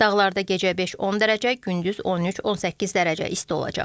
Dağlarda gecə 5-10 dərəcə, gündüz 13-18 dərəcə isti olacaq.